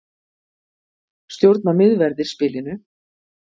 Stjórna miðverðir spilinu